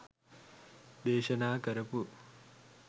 දේශනා කරපු